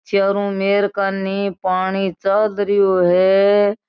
चारो मेर कानी पाणी चाल रहो है।